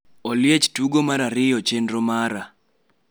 Oliech tugo mar ariyo chenro mara